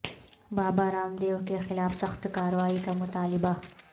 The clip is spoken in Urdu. بابا رام دیو کے خلاف سخت کاروائی کا مطالبہ